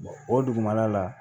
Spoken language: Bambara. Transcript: o dugumana la